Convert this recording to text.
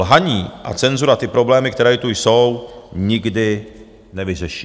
Lhaní a cenzura ty problémy, které tu jsou, nikdy nevyřeší.